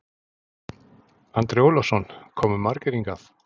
Andri Ólafsson: Komu margir hingað?